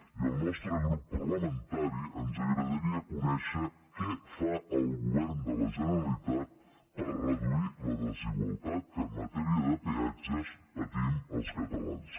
i al nostre grup parlamentari ens agradaria conèixer què fa el govern de la generalitat per reduir la desigualtat que en matèria de peatges patim els catalans